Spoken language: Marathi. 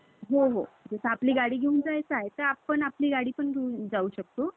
आणि त्या उभारलेल्या असतात. आणि ह्याच दिवशी याचा अर्थ असा कि, त्यादिवशीपासून तुमचं वर्ष सुरु झालं. आणि मग सगळे एकेक सण सुरु होतात.